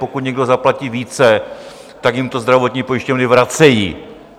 Pokud někdo zaplatí více, tak jim to zdravotní pojišťovny vracejí.